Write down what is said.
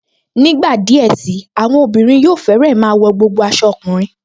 Nígbà díẹ̀ sí i, àwọn obìnrin yóò fẹ́rẹ́ máa wọ gbogbo aṣọ ọkùnrin